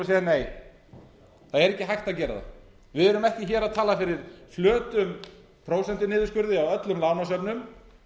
að segja nei það er ekki hægt að gera það við erum ekki hér að tala fyrir flötum prósentuniðurskurði á öllum lánasöfnum